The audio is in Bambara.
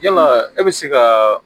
Yala e be se ka